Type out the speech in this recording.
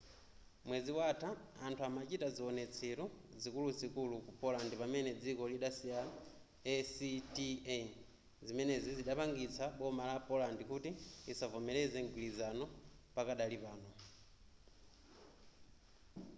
mwezi watha anthu amachita ziwonetselo zikuluzikulu ku poland pamene dziko lidasayina acta zimenezi zidapangitsa boma la poland kuti lisavomereze mgwilizano pakadali pano